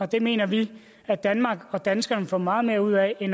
det mener vi at danmark og danskerne får meget mere ud af end